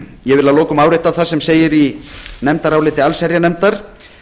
ég vil að lokum árétta það sem segir í nefndaráliti allsherjarnefndar